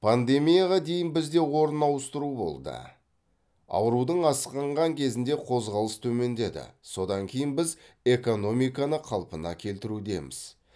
пандемияға дейін бізде орын ауыстыру болды аурудың асқынған кезінде қозғалыс төмендеді содан кейін біз экономиканы қалпына келтірудеміз